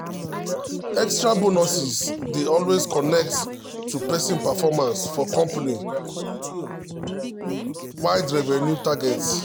extra bonuses dey always connect to person performance or company-wide revenue targets.